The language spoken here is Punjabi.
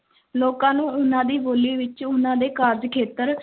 ਲੋਕਾਂ ਨੂੰ ਉਹਨਾਂ ਦੀ ਬੋਲੀ ਵਿੱਚ, ਉਹਨਾਂ ਦੇ ਕਾਰਜ-ਖੇਤਰ